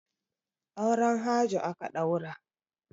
Auren Hajo aka ɗaura.